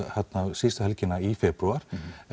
síðustu helgina í febrúar